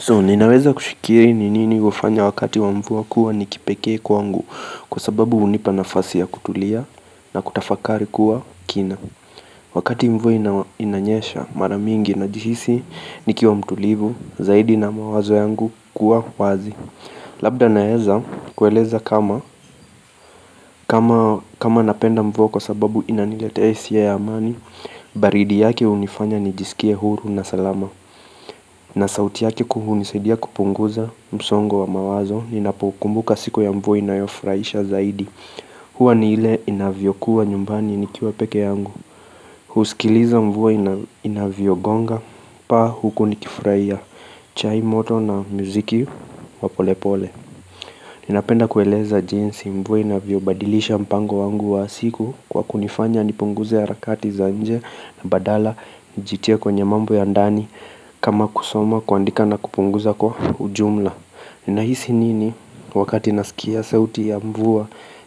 So ninaweza kushikiri ni nini hufanya wakati wamvua kuwa nikipeke kwangu kwa sababu hunipa nafasi ya kutulia na kutafakari kuwa kina. Wakati mvua inanyesha maramingi na jihisi nikia wamtulivu zaidi na mawazo yangu kuwa wazi. Labda naeza kueleza kama kama napenda mvua kwa sababu inanilete hisia ya amani, baridi yake inifanya nijisikie huru na salama. Na sauti yake kuu hunisadia kupunguza msongo wa mawazo, ninapo kumbuka siku ya ambayo inayofraisha zaidi huwa ni ile inavyo kuwa nyumbani nikiwa peke yangu husikiliza mvua inavyogonga, paa huku nikifurahia chai moto na muziki wa polepole Ninapenda kueleza jinsi mvua inavyo badilisha mpango wangu wa siku Kwa kunifanya nipunguze harakati za nje na badala njitie kwenye mambo ya ndani kama kusoma kuandika na kupunguza kwa ujumla Nahisi nini wakati nasikia sauti ya mvua